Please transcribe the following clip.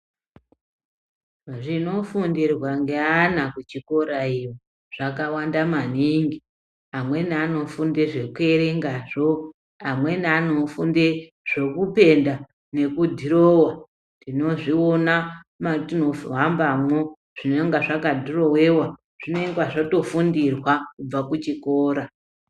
Zvinofundirwa ngeana kuchikora iyo zvakawanda maningi. Amweni anofunde zvekuerengazvo, amweni anofunde zvekupenda nekudhirowa tinozviona matinohambamwo zvinenge zvakadhirowiwa zvinenge zvatofundirwa kubva kuchikora.